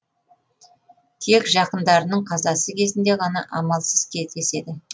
тек жақындарының қазасы кезінде ғана амалсыз кездеседі